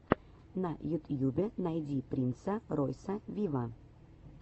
на ютьюбе найди принса ройса виво